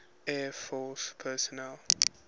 air force personnel